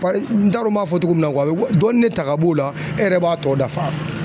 n t'a dɔn n b'a fɔ togo min na dɔɔnin de ta ka b'o la e yɛrɛ b'a tɔ dafa.